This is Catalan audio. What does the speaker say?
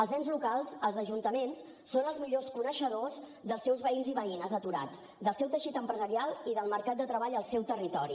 els ens locals els ajuntaments són els millors coneixedors dels seus veïns i veïnes aturats del seu teixit empresarial i del mercat de treball al seu territori